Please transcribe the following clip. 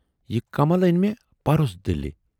""یہِ کمل ٲنۍ مے پَرُس دِلہِ۔